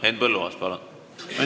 Henn Põlluaas, palun!